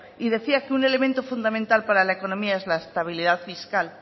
y decía que un elemento fundamental para la economía es para la estabilidad fiscal